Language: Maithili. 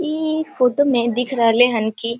ई फोटो में दिख रहले हेन की